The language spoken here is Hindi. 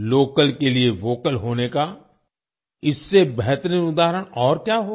लोकल के लिए वोकल होने का इससे बेहतरीन उदाहरण और क्या होगा